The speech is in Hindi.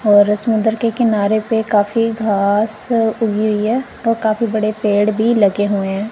और इस मंदिर के किनारे पे काफी घास उगी हुईं हैं और काफी बड़े पेड़ भी लगे हुएं हैं।